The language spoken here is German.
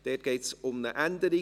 Dort geht es um eine Änderung.